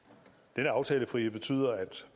denne aftalefrihed betyder at